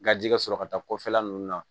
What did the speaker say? Gaji ka sɔrɔ ka taa kɔfɛla ninnu na